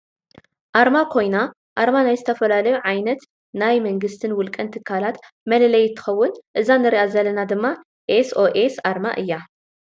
ኣርማ ኮይና ኣርማ ናይ ዝተፈላለዩ ዓይማኖት፣ ናይ መንግስትን ውልቀን ትካላት መለለይ እንትከውን እዛ እንሪኣ ዘለና ድማ ኤስ ኦ ኤስ ኣርማ እያ።